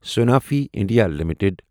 Sanofi India limited